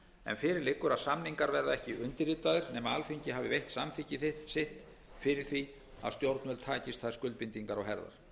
en fyrir liggur að samningarnir verða ekki undirritaðir nema alþingi hafi veitt samþykki sitt fyrir því að stjórnvöld takist þær skuldbindingar á herðar